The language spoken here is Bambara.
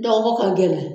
Dɔgɔko ka gɛlɛn